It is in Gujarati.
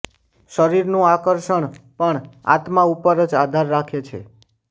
શરીરનું આકર્ષણ પણ આત્મા ઉપર જ આધાર રાખે છે